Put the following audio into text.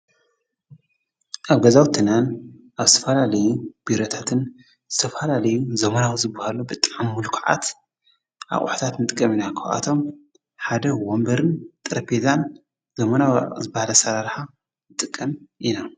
ኣ ገዛውትናን ኣብ ሰፋላለዩ ቢረታትን ተፋላለዩ ዘሙናዊ ዝብሃሉ ብጣም ምሉኩዓት ኣቝኅታት ንጥቀ ምና ክውኣቶም ሓደውዎንበርን ጠረፌዛን ዘሙናው ዝበለሠራርሓ እጥቀም ኢና።